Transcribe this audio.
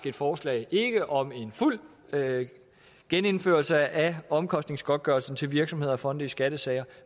et forslag ikke om en fuld gennemførelse af omkostningsgodtgørelsen til virksomheder og fonde i skattesager